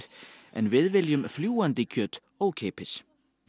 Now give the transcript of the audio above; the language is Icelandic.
en við viljum fljúgandi kjöt ókeypis